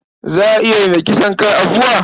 Za a iya yi wa mai kisan kai afuwa?